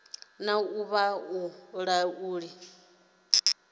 na uri vha i laule